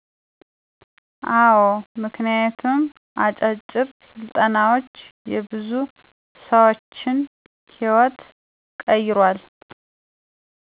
አዎ ምክንያቱም አጫጭር ስልጠናዎች የብዙ ሰዎችን ህይዎት ቀይረዋል።